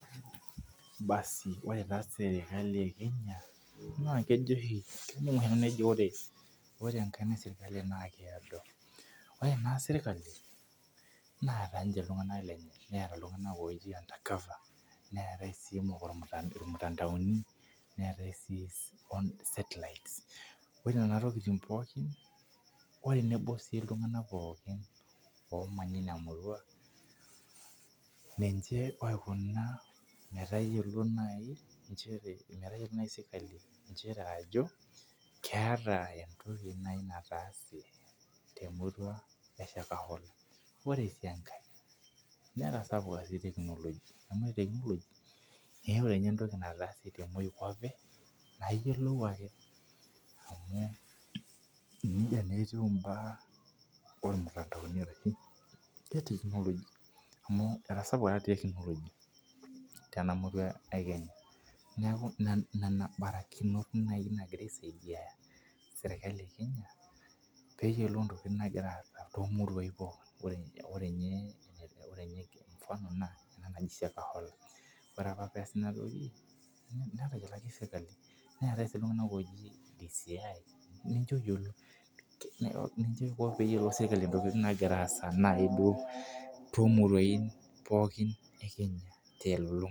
Baasii ore taa serikali ee Kenya naa kejo oshi ing' oshi ejo ore enkaina ee serikali naa keado. Ore ena serikali neeta ninche iltung'ana lenye netaa iltung'ana otui under cover neetae sii irmutandaoni neetae sii set lights ore nena tokitin pookin oo tenebo sii iltung'ana pookin omanya ina murua ninche oikuna metayiolo naji inchere metayolou naji serikali ajo keetaa naji entoki nataase. Te murua ee Shakahola. Ore sii enkae netasapuka sii teknojia tenilo pooki weji ewetai entoki naatase nai yiolou ake amu neija naa etiuiibaa ormutandao ee technology amjj etasapuka taata technology to murua ee Kenya neeku nena barakinot naji nagira aisaidia serikali ee Kenya pee iyiolou intokitin nagura aasa tolosho le Kenya too muruatin pookin. Ore ninye mfano naa ena naji Shakahola ore apaa pesaa ina toki netayioloki serikali neetae sii iltung'ana oji DCI ninche oyiolo ninche iko pee iyiolou serikali ntokitin nagiraa aasa naji duo too muraun pookin ee Kenya te lolong'ata.